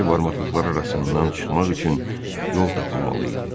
Dəmir barmaqlıqlar arasından çıxmaq üçün yol tapılmalı idi.